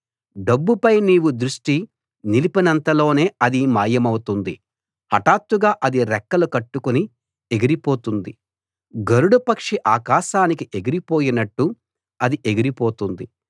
డబ్బుపై నీవు దృష్టి నిలిపినంతలోనే అది మాయమౌతుంది హటాత్తుగా అది రెక్కలు కట్టుకుని ఎగిరిపోతుంది గరుడ పక్షి ఆకాశానికి ఎగిరిపోయినట్టు అది ఎగిరి పోతుంది